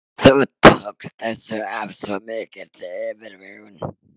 Þú tókst þessu af svo mikilli yfirvegun.